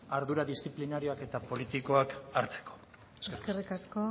ardura disziplinarioak eta politikoak hartzeko eskerrik asko